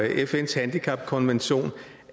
fns handicapkonvention